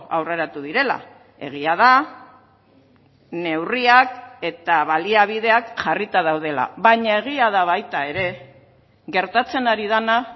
aurreratu direla egia da neurriak eta baliabideak jarrita daudela baina egia da baita ere gertatzen ari dena